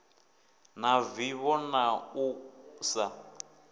na vivho na u sa